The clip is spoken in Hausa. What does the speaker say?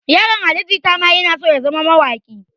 Yaron ali jita ma yana so ya zama mawaƙi